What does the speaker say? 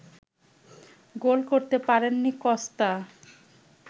গোল করতে পারেননি কস্তা